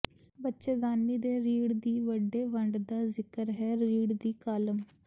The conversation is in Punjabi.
ਬੱਚੇਦਾਨੀ ਦੇ ਰੀੜ੍ਹ ਦੀ ਵੱਡੇ ਵੰਡ ਦਾ ਜ਼ਿਕਰ ਹੈ ਰੀੜ੍ਹ ਦੀ ਕਾਲਮ